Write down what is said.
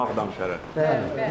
Ağdam şəhəri.